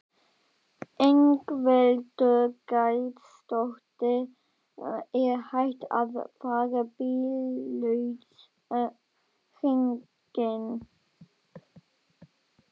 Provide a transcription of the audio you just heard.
Ingveldur Geirsdóttir: Er hægt að fara bíllaus hringinn?